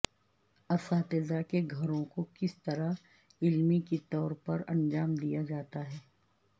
اساتذہ کے گھروں کو کس طرح علمی طور پر انجام دیا جاتا ہے